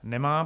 Nemá.